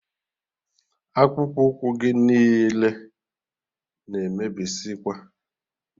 Akpụkpu ụkwụ gị niile na emebizikwa